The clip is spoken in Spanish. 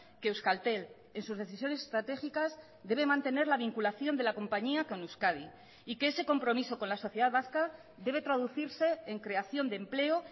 que euskaltel en sus decisiones estratégicas debe mantener la vinculación de la compañía con euskadi y que ese compromiso con la sociedad vasca debe traducirse en creación de empleo